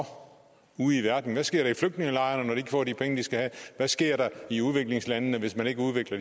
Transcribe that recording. ude i verden hvad sker der i flygtningelejrene når de ikke få de penge de skal have hvad sker der i udviklingslandene hvis man ikke udvikler